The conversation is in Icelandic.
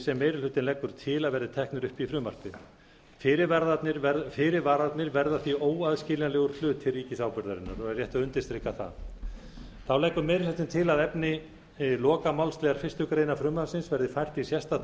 sem meiri hlutinn leggur til að verði teknir upp í frumvarpið fyrirvararnir verða því óaðskiljanlegur hluti ríkisábyrgðarinnar og er rétt að undirstrika það þá leggur meiri hlutinn til að efni lokamálsliðar fyrstu grein frumvarpsins verði fært í sérstakt